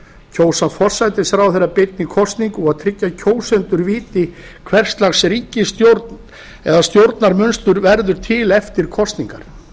kjósa forsætisráðherra beinni kosningu og tryggja að kjósendur viti hvers lags ríkisstjórn eða stjórnarmunstur verður til eftir kosningar